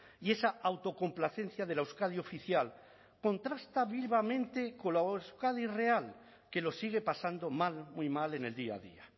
y esa autocomplacencia de la euskadi oficial contrasta vivamente con la euskadi real que lo sigue pasando mal muy mal en el día a día